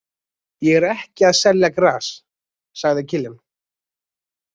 Ég er ekki að selja gras, sagði Kiljan.